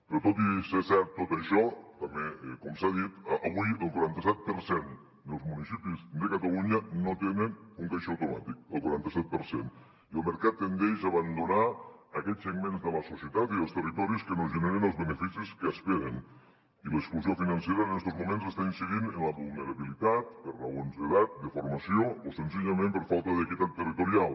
però tot i ser cert tot això també com s’ha dit avui el quaranta set per cent dels municipis de catalunya no tenen un caixer automàtic el quaranta set per cent i el mercat tendeix a abandonar aquests segments de la societat i dels territoris que no generen els beneficis que esperen i l’exclusió financera en estos moments està incidint en la vulnerabilitat per raons d’edat de formació o senzillament per falta d’equitat territorial